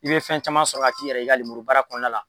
I bɛ fɛn caman sɔrɔ ka k'i yɛrɛ ye i ka lemuru baara kɔnɔna la.